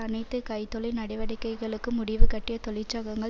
அனைத்து கை தொழில் நடவடிக்கைகளுக்கும் முடிவுகட்டிய தொழிற்சகங்கள்